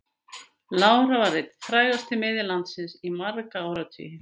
Lára var einn frægasti miðill landsins í marga áratugi.